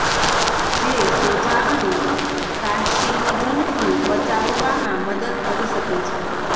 જે સોજા અને કાર્સિનોજનથી બચાવવામાં મદદ કરી શકે છે